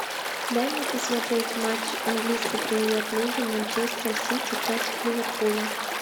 дай мне посмотреть матч английской премьер лиги манчестер сити против ливерпуля